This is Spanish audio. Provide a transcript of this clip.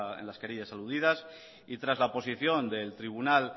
en las querellas aludidas y tras la posición del tribunal